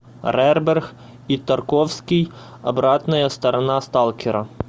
рерберг и тарковский обратная сторона сталкера